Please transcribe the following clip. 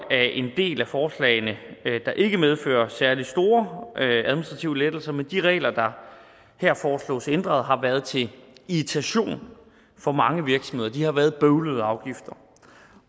er en del af forslagene der ikke medfører særlig store administrative lettelser men de regler der her foreslås ændret har været til irritation for mange virksomheder det har været bøvlede afgifter